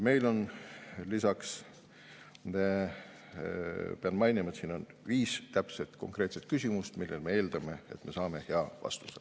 Meil on, pean mainima, siin viis täpset, konkreetset küsimust, millele me eeldame, et me saame hea vastuse.